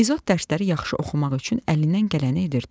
İzot dərsləri yaxşı oxumaq üçün əlindən gələni edirdi.